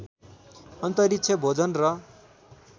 अन्तरिक्ष भोजन र